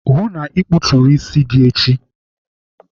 Hụụ na ikputuru isi gị echi!